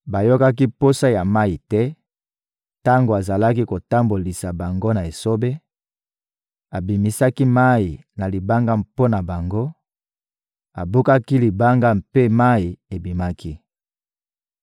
Bayokaki posa ya mayi te tango azalaki kotambolisa bango na esobe, abimisaki mayi na libanga mpo na bango, abukaki libanga mpe mayi ebimaki.